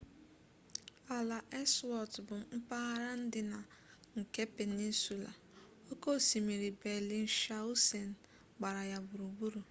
ala ellsworth bụ mpaghara ndịna nke penịnsụla oke osimiri bellingshausen gbara ya gburugburu